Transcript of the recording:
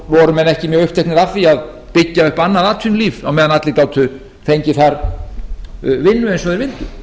voru menn ekki mjög uppteknir af því að byggja upp annað atvinnulíf á meðan allir gátu fengið þar vinnu eins og þeir vildu